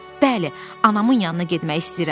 Bəli, anamın yanına getmək istəyirəm.